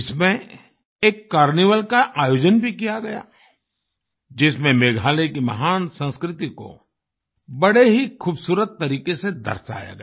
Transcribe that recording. इसमें एक कार्निवल का आयोजन भी किया गया जिसमें मेघालय की महान संस्कृति को बड़े ही खूबसूरत तरीके से दर्शाया गया